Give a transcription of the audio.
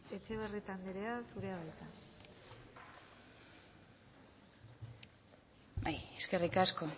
etxebarrieta andrea zurea da hitza eskerrik asko